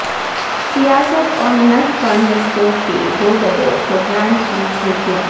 سیاست اور ملت فنڈ رشتوں کے دوبدو پروگرام کی جھلکیاں